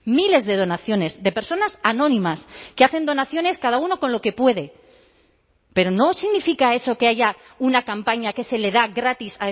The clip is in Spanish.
miles de donaciones de personas anónimas que hacen donaciones cada uno con lo que puede pero no significa eso que haya una campaña que se le da gratis